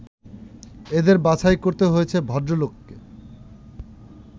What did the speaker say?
এদের বাছাই করতে হয়েছে ভদ্রলোককে